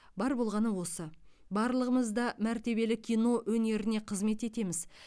бар болғаны осы барлығымыз да мәртебелі кино өнеріне қызмет етеміз